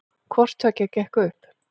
Hvorttveggja gekk upp